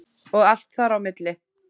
Og allt þar á milli.